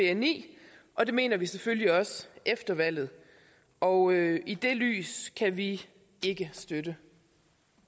af bni og det mener vi selvfølgelig også efter valget og i det lys kan vi ikke støtte